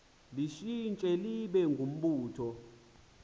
litshintshe libe ngumbutho